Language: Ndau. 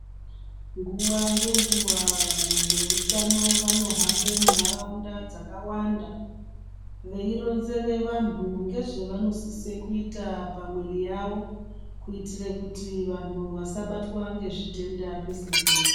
Nguwa ngenguwa, vanhu vehutano vanohambe munharawunda dzakawanda veyironzere vanhu ngezvevanosise kuita pamwiri yavo kuitire kuti vanhu vasabatwa ngezvitenda pese pese.